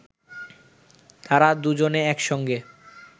তাঁরা দুজনে একসঙ্গে